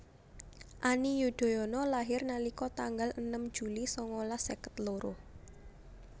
Ani Yudhoyono lahir nalika tanggal enem Juli sangalas seket loro